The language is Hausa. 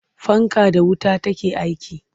Fanka da wuta take aiki.